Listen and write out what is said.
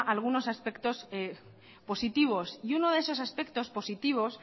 algunos aspectos positivos y uno de esos aspectos positivos